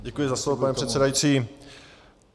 Děkuji za slovo, pane předsedající.